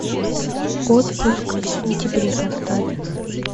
отпуск в сентябре поставь